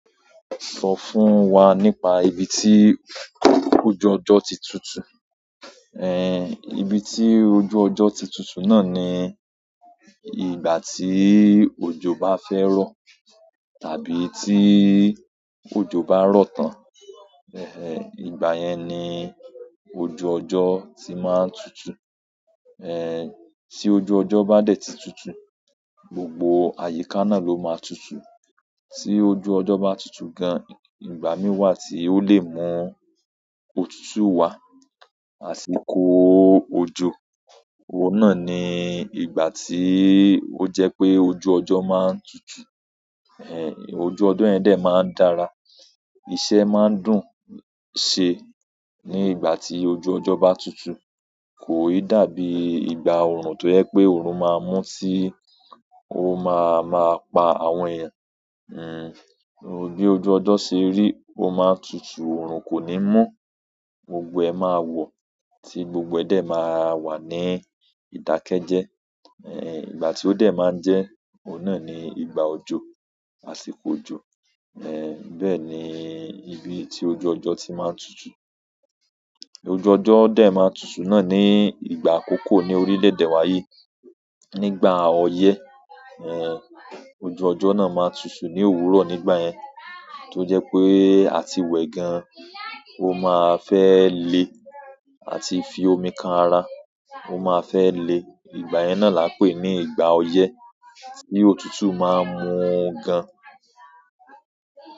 Sọ fún wa nípa ibi tí ojú ọjọ́ ti tutù. Eh, ibi tí ojú ọjọ́ ti tutù náà ni ìgbà tí òjò bá fẹ́ rọ̀ tàbí tí òjò bá rọ̀ tán. Eh, ìgbà yẹn ni ojú ọjọ́ tí máa ń tutù. Eh, tí ojú ọjọ́ bá dẹ̀ ti tutù, gbogbo àyíká náà ló máa tutù. Tí ojú ọjọ́ bá tutù gan, ìgbà mì wá tí ó lè mú òtútù wá, àsìkò òjò. Òun náà ni ìgbà tí ó jẹ́ pé ojú ọjọ́ máa ń tutù. Eh, ojú ọjọ́ yẹn dẹ̀ máa ń dára, iṣẹ́ máa ń dùn ṣe ní ìgbà tí ojú ọjọ́ bá tutù. Ko i dàbí ìgbà orun to je pe orun maa mu ti, o maa maa pa àwọn eeyan. Hmm, bí ojú ọjọ́ ṣe rí, ó máa tutù, òòrùn kò ní mú, gbogbo ẹ máa wọ̀ tí gbogbo ẹ dẹ̀ máa wà ní ìdákẹ́ jẹ. Eh, ìgbà tí ó dẹ̀ máa ń jẹ́, òun náà ni ìgbà òjò, àsìkò òjò. Eh, bẹ́ẹ̀ni ibi ti ojú ojo ti maa n tutu. Ojú ọjọ́ dẹ̀ máa tutù náà ni ìgbà àkọ́kọ́ ní orílẹ̀-èdè wa yìí. Nígbà oye, eh, ojú ojo na maa n tutu ni òwúrọ̀ nígbà yen to je pe àti we gan, o maa fe le, àti fi omi kan ara, o maa fe le. Ìgbà yẹn náà la pè ní ìgbà ọyẹ́ tí òtútù máa ń mú gan.